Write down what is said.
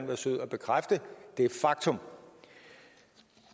være sød at bekræfte det faktum